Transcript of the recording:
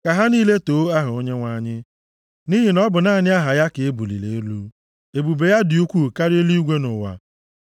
Ka ha niile too aha Onyenwe anyị, nʼihi na ọ bụ naanị aha ya ka e buliri elu; ebube ya dị ukwuu karịa eluigwe na ụwa.